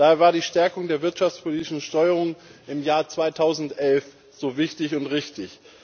Daher war die Stärkung der wirtschaftspolitischen Steuerung im Jahr 2011 so wichtig und richtig.